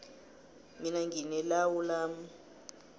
mina ngine lawu lami